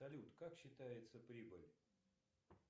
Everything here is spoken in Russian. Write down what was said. салют как считается прибыль